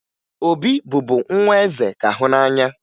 Obi bụbu nwa eze ka hụ n'anya